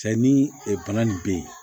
Sayi ni ɛ bana nin be yen